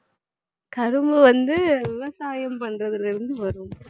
கரும்பு வந்து விவசாயம் பண்றதுலருந்து வரும்